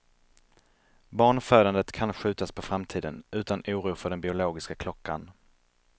Barnfödandet kan skjutas på framtiden, utan oro för den biologiska klockan.